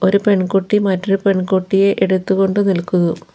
ഒരു പെൺകുട്ടി മറ്റൊരു പെൺകുട്ടിയെ എടുത്തു കൊണ്ട് നിൽക്കുന്നു.